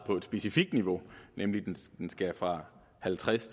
specifikt niveau nemlig at den skal fra halvtreds